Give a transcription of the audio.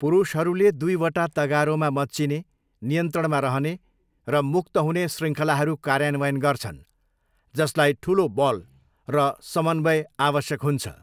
पुरुषहरूले दुईवटा तगारोमा मच्चिने, नियन्त्रणमा रहने, र मुक्त हुने शृङ्खलाहरू कार्यान्वयन गर्छन् जसलाई ठुलो बल र समन्वयको आवश्यक हुन्छ।